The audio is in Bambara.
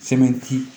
Sɛmɛnti